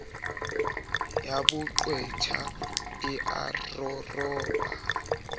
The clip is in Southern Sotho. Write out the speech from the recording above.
ya boqwetha e a roropa